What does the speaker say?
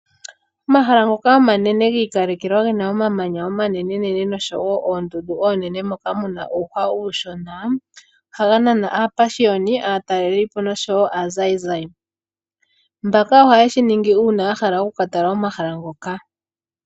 Omahala ngoka omanene gi ikalekelwa ge na omamanya omanenenene nosho wo oondundu oonene moka mu na uuhwa uushona, ohaga nana aapashioni, aatalelipo noshowo aazayizayi. Mbaka ohaye shi ningi uuna ya hala oku ka tala omahala ngoka.